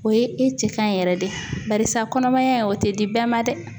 O ye i cɛ kan yɛrɛ de barisa kɔnɔmaya o tɛ di bɛɛ ma dɛ